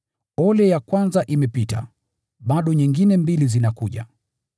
Ole ya kwanza imepita, bado nyingine mbili zinakuja.